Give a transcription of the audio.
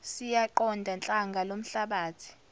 siyaqonda hlanga lomhlabathi